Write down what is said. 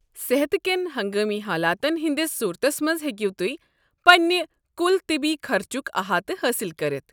صحت كٮ۪ن ہنگٲمی حالاتن ہٕنٛدِس صورتس منٛز ہیٚکو تُہۍ پنٛنٕنۍ کل طبی خرچُک احاتہٕ حٲصل کٔرتھ۔